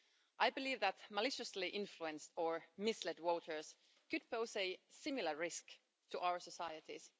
I believe that maliciously influenced or misled voters could pose a similar risk to our societies.